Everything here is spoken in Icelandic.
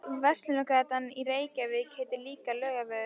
Verslunargatan í Reykjavík heitir líka Laugavegur.